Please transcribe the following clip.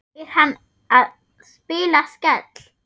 Er hann að spila Skell?